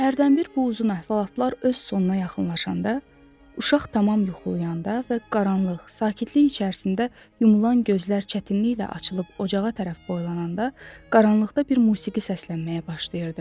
Hərdən bir bu uzun əhvalatlar öz sonuna yaxınlaşanda uşaq tamam yuxlayanda və qaranlıq, sakitlik içərisində yumulan gözlər çətinliklə açılıb ocağa tərəf boylananda qaranlıqda bir musiqi səslənməyə başlayırdı.